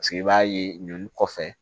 Paseke i b'a ye ninnu kɔfɛ